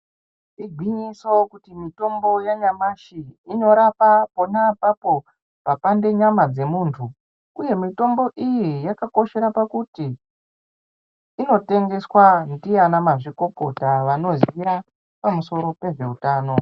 Igwinyiso kuti mithombo yanyamashi inorapa pona apapo papande nyama dzemuntu uye mitombo iyi yakakoshera pakuti inotengeswa ndiana mazvikokota vanoziya pamusoro pezveutano.